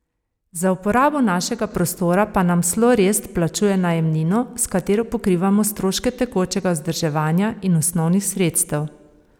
Za uporabo našega prostora pa nam Slorest plačuje najemnino, s katero pokrivamo stroške tekočega vzdrževanja in osnovnih sredstev.